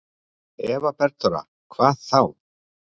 Eva Bergþóra: Hvað þá?